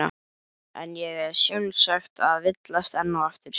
En ég er sjálfsagt að villast enn og aftur.